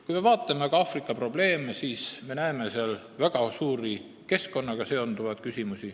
Kui me aga vaatame Aafrika probleeme, siis me näeme seal väga suuri keskkonnaga seonduvaid küsimusi.